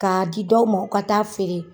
K'a di dɔw ma u ka taa feere.